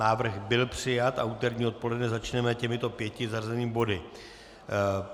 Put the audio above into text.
Návrh byl přijat a úterní odpoledne začneme těmito pěti zařazenými body.